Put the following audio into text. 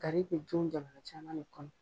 Gari bɛ dun jamana cama de kɔnɔ